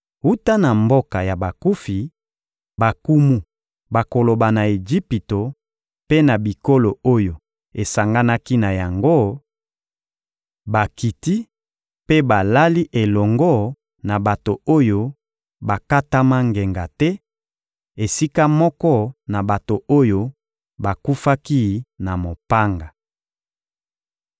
Wuta na mboka ya bakufi, bankumu bakoloba na Ejipito mpe na bikolo oyo esanganaki na yango: ‹Bakiti mpe balali elongo na bato oyo bakatama ngenga te, esika moko na bato oyo bakufaki na mopanga.›